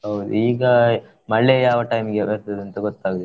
ಹೌದು ಈಗ ಮಳೆ ಯಾವ time ಈಗೆ ಬರ್ತದೆ ಅಂತ ಗೊತ್ತಾಗುದಿಲ್ಲ.